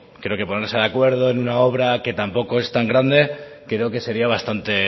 creo que ponerse de acuerdo en una obra que tampoco es tan grande creo que sería bastante